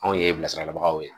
Anw ye bilasiralabagaw ye